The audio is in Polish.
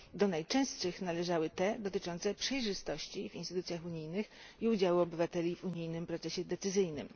Do najczęstszych należały te dotyczące przejrzystości w instytucjach unijnych i udziału obywateli w unijnym procesie decyzyjnym.